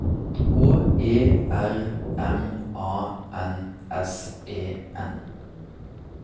H E R M A N S E N